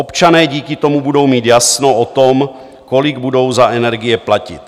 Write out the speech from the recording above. Občané díky tomu budou mít jasno o tom, kolik budou za energie platit.